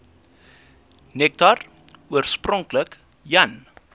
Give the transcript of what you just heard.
nektar oorspronklik jan